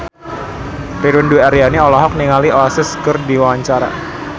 Ririn Dwi Ariyanti olohok ningali Oasis keur diwawancara